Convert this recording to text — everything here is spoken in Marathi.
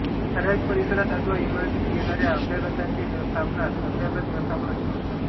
ठराविक परिसरात अथवा इमारतीत येणाऱ्या अभ्यागतांचे व्यवस्थापनास अभ्यागत व्यवस्थापन असे म्हणतात